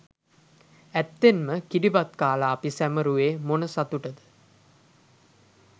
ඇත්තෙන්ම කිරිබත් කාලා අපි සැමරුවේ මොන සතුටද?